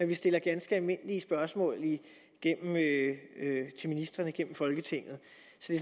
vi stiller ganske almindelige spørgsmål til ministrene gennem folketinget